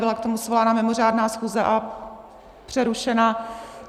Byla k tomu svolána mimořádná schůze a přerušena.